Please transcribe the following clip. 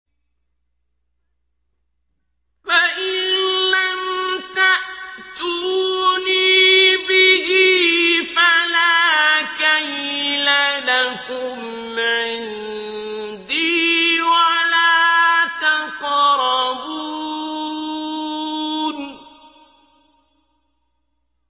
فَإِن لَّمْ تَأْتُونِي بِهِ فَلَا كَيْلَ لَكُمْ عِندِي وَلَا تَقْرَبُونِ